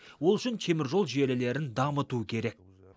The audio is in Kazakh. ол үшін теміржол желілерін дамыту керек